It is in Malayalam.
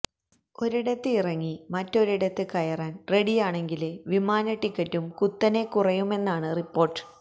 ഒരിടത്ത് ഇറങ്ങി മറ്റൊരിടത്ത് കയറാന് റെഡിയാണെങ്കില് വിമാന ടിക്കറ്റും കുത്തനെ കുറയുമെന്നാണ് റിപ്പോര്ട്ട്